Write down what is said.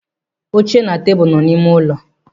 Oche na tebụl nọ n'ime ụlọ m.